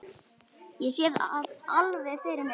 Ég sé það alveg fyrir mér.